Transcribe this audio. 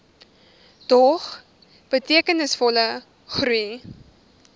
dog betekenisvolle groei